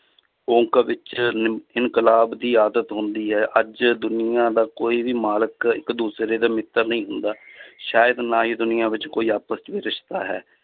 ਵਿੱਚ ਨਿਮ~ ਇਨਕਲਾਬ ਦੀ ਆਦਤ ਹੁੰਦੀ ਹੈ ਅੱਜ ਦੁਨੀਆਂ ਦਾ ਕੋਈ ਵੀ ਮਾਲਕ ਇੱਕ ਦੂਸਰੇ ਦਾ ਮਿੱਤਰ ਨਹੀਂ ਹੁੰਦਾ ਸ਼ਾਇਦ ਨਾ ਹੀ ਦੁਨੀਆਂ ਵਿੱਚ ਕੋਈ ਆਪਸ 'ਚ ਵੀ ਰਿਸ਼ਤਾ ਹੈ